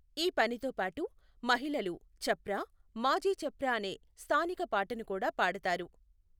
ఈ పనితో పాటు మహిళలు ఛప్రా మాఝీ ఛప్రా అనే స్థానిక పాటను కూడా పాడతారు.